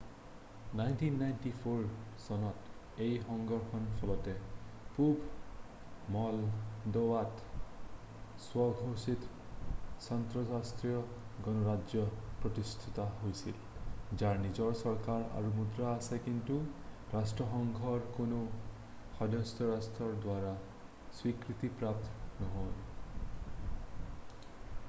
1994 চনত এই সংঘৰ্ষৰ ফলতে পূব মলডোভাত স্ব-ঘোষিত ট্ৰেন্সনিষ্ট্ৰিয়া গণৰাজ্য প্ৰতিষ্ঠা হৈছিল যাৰ নিজৰ চৰকাৰ আৰু মুদ্ৰা আছে কিন্তু ৰাষ্ট্ৰসংঘৰ কোনো সদস্যৰাষ্ট্ৰৰ দ্বাৰা স্বীকৃতিপ্ৰাপ্ত নহয়